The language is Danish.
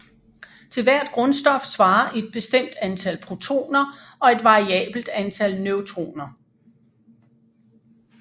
Til hvert grundstof svarer et bestemt antal protoner og et variabelt antal neutroner